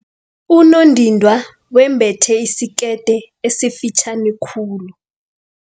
Unondindwa wembethe isikete esifitjhani khulu.